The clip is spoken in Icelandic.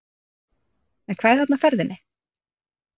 En hvað er þarna á ferðinni?